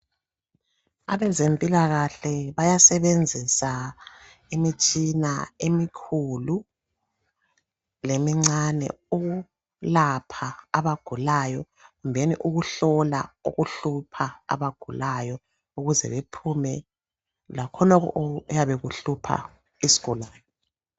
Abezempilakahle bayasebenzisa imitshina emikhulu lemincane ukwelapha lokuhlola abagulayo ukuze babone lokho okuyabe kuhlupha izigulane.